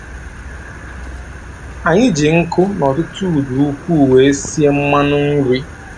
Anyị ji nkụ na ọtụtụ udu ukwuu were sie mmanụ nri.